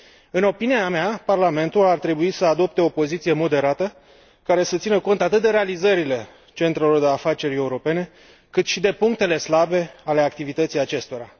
În opinia mea, Parlamentul ar trebui să adopte o poziție moderată, care să țină cont atât de realizările centrelor de afaceri europene, cât și de punctele slabe ale activității acestora.